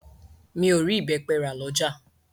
Mi o rí ìbẹ́pẹ rà lọ́jà.